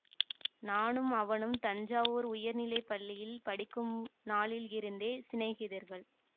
நானும் அவனும் தஞ்சாவூர் உயர்நிலை பள்ளியில் படிக்கும் நாளிலிருந்தே சிநேகிதர்கள்